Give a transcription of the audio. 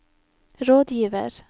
rådgiver